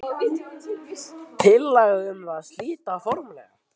Sigurjón: Tillaga um það að slíta formlega?